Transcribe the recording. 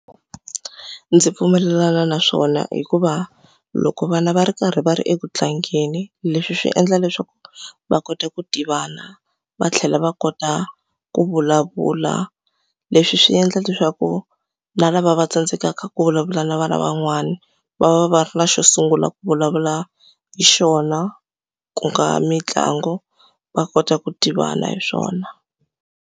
Ndzi pfumelelana na swona hikuva loko vana va ri karhi va ri eku tlangeni, leswi swi endla leswaku va kota ku tivana. Va tlhela va kota ku vulavula. Leswi swi endla leswaku na lava va tsandzekaka ku vulavula na vana van'wani, va va va ra xo sungula ku vulavula hi xona. Ku nga mitlangu, va kota ku tivana hi swona.